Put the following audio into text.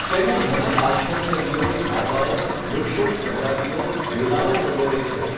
તેમાં ઘણા કાષ્ઠૌષધિઓ, ઝાડવાઓ, વૃક્ષોની પ્રજાતિઓ, વેલાઓ વગેરે છે.